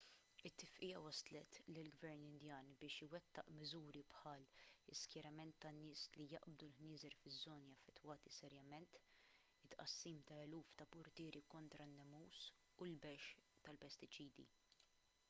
it-tifqigħa wasslet lill-gvern indjan biex iwettaq miżuri bħall-iskjerament ta' nies li jaqbdu l-ħnieżer fiż-żoni affettwati serjament it-tqassim ta' eluf ta' purtieri kontra n-nemus u l-bexx tal-pestiċidi